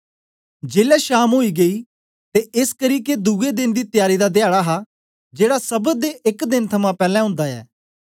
जेलै शाम ओई गेई ते एसकरी के दुए देन दी तयारी दा धयाडा हा जेड़ा सब्त दे एक देन थमां पैलैं ओंदा ऐ